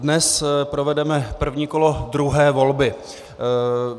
Dnes provedeme první kolo druhé volby.